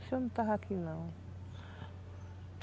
Acho que eu não estava aqui, não.